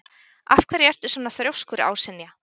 Af hverju ertu svona þrjóskur, Ásynja?